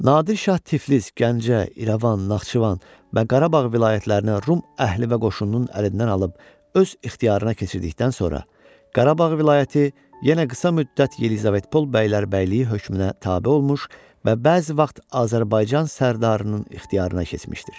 Nadir şah Tiflis, Gəncə, İrəvan, Naxçıvan və Qarabağ vilayətlərini Rum əhli və qoşununun əlindən alıb öz ixtiyarına keçirdikdən sonra, Qarabağ vilayəti yenə qısa müddət Yelizavetpol bəylərbəyliyi hökmünə tabe olmuş və bəzi vaxt Azərbaycan sərdarının ixtiyarına keçmişdir.